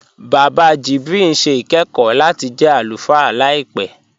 Bàbá Jibril n ṣẹ̀ ikẹ̀kọ̀ lati jẹ́ alúfáà làìpẹ.